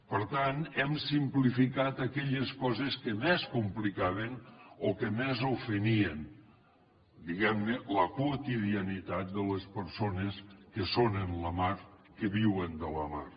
per tant hem simplificat aquelles coses que més complicaven o que més ofenien diguem ne la quotidianitat de les persones que són en la mar que viuen de la mar